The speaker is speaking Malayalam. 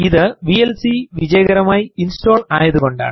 ഇത് വിഎൽസി വിജയകരമായി ഇൻസ്റ്റോൾ ആയതുകൊണ്ടാണ്